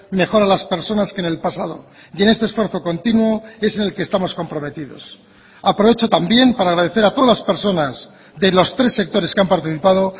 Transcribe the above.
mejor a las personas que en el pasado y en este esfuerzo continuo es en el que estamos comprometidos aprovecho también para agradecer a todas las personas de los tres sectores que han participado